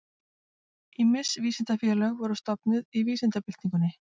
Ýmis vísindafélög voru stofnuð í vísindabyltingunni.